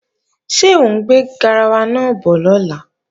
Ṣé ọ ń gbé garawa náà bọ̀ lọ́la?